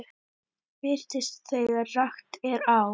Birtist þegar rakt er á.